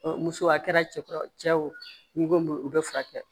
muso a kɛra cɛkɔrɔba cɛ ye wo n'i ko o bɛ furakɛ